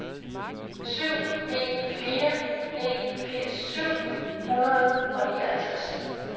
syv en fire en firs syv hundrede og nioghalvtreds